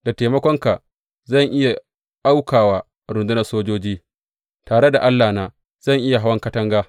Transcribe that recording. Da taimakonka zan iya auka wa rundunar sojoji; tare da Allahna zan iya hawan katanga.